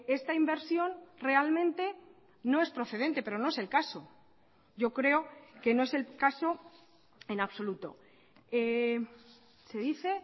esta inversión realmente no es procedente pero no es el caso yo creo que no es el caso en absoluto se dice